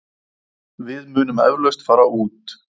Við munum eflaust fara út.